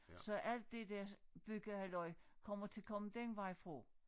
Så alt det der byggehalløj kommer til komme den vej fra